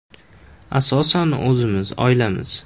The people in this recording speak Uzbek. Asosan o‘zimiz, oilamiz.